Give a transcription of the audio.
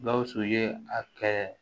Gawusu ye a kɛ